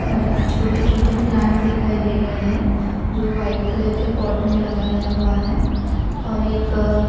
और छोटे छोटे प्लांट दिखाई दे रहे है जो व्हाइट कलर के पॉट मे लगाया हुआ है और एक--